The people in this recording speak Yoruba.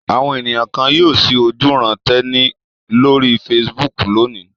Àwọn ènìyàn kan yóò ṣí ojúuran-tẹni lórí Facebook lónìí.